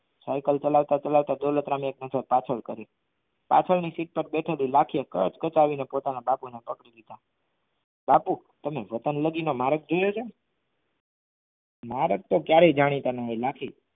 કલકલત કલકલત દોલતરામ એ કરી પાછળની સીટ પર બેઠલી લાખી કાચકચાઈ ને પોતાના બાપુના પગ બાપુ તમે વતન લગી મારા ઘેર જા મારે તો ક્યરેક જાણીતા ન હોય લાખી